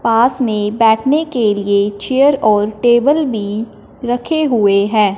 पास में बैठने के लिए चेयर और टेबल भी रखे हुए है।